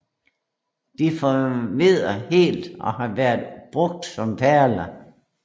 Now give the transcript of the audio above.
De forvedder helt og har været brugt som perler